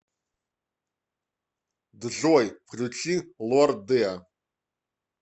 джой включи лорде